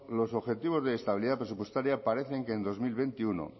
los objetivos de estabilidad presupuestaria parece que en dos mil veintiuno